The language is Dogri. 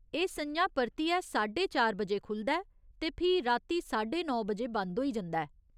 एह् स'ञां परतियै साड्डे चार बजे खु'लदा ऐ ते फ्ही राती साड्डे नौ बजे बंद होई जंदा ऐ।